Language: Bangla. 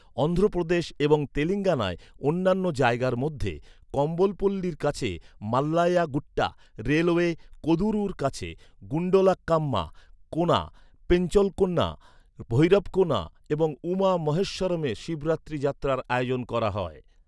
অন্ধ্রপ্রদেশ এবং তেলেঙ্গানায় অন্যান্য জায়গার মধ্যে, কম্বলপল্লির কাছে মাল্লায়া গুট্টা, রেলওয়ে কোদুরুর কাছে গুন্ডলাকাম্মা কোনা, পেঞ্চলকোনা, ভৈরবকোনা এবং উমা মহেশ্বরমে শিবরাত্রি যাত্রার আয়োজন করা হয়।